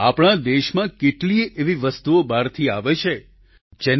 આપણા દેશમાં કેટલીયે એવી વસ્તુઓ બહારથી આવે છે જેના પર